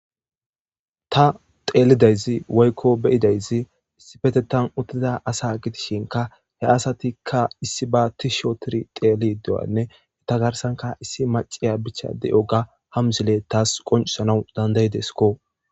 Ta teelidayzi woykko beyidayzi issi petetan uttida asa gidishinka he asatikka issi ba tish otiri Xeelid de'anne he ta garsanka issi maciya bicha de'oga ha mzile taas qoncisana dandayidesikko.